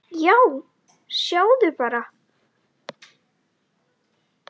Já, sjáðu bara!